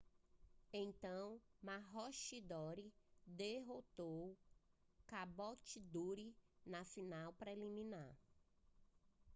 então maroochydore derrotou caboolture na final preliminar